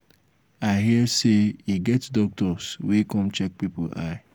i hear say e get doctors wey come check people eye.